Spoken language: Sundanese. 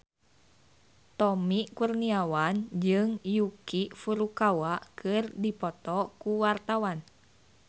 Tommy Kurniawan jeung Yuki Furukawa keur dipoto ku wartawan